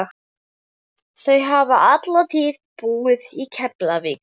Þau hafa alla tíð búið í Keflavík.